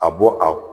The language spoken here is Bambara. A bɔ a